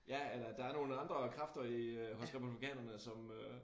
Ja eller der nogle andre kræfter i hos republikanerne som øh